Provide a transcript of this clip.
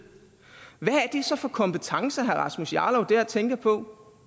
så for kompetencer herre rasmus jarlov dér tænker på